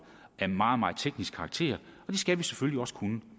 af meget meget teknisk karakter og det skal vi selvfølgelig også kunne